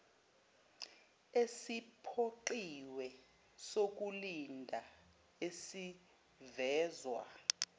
esiphoqiwe sokulinda esivezwa